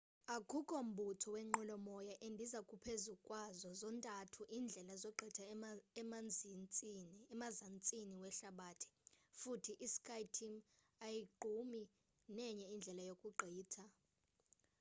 akukho mbutho wenqwelo moya endiza phezukwazo zontathu iindlela zogqitha emzantsini wehlabathi futhi i-skyteam ayogqumi nenye indlela yokugqitha